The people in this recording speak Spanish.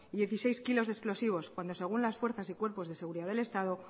dieciséis kilos de explosivos cuando según las fuerzas y cuerpos de seguridad del estado